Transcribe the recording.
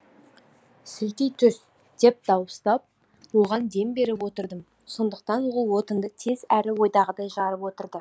сілтей түс деп дауыстап оған дем беріп отырдым сондықтан ол отынды тез әрі ойдағыдай жарып отырды